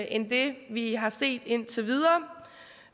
end det vi har set indtil videre